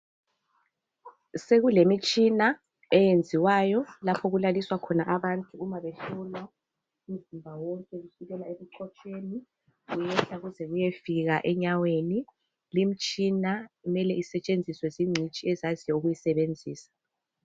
Sekulemitshina eyenziwayo lapho okulaliswa khona abantu uma behlolwa umzimba wonke kusukela ebuchopheni kuyehla kuze kusiya enyaweni limitshina kumele isetshenziswe zingcitshi ezaziyo ukuyisebenzisa.